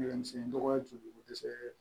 Gɛlɛyamisɛnnin nɔgɔya bɛ dɛsɛ